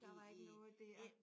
Der var ikke noget der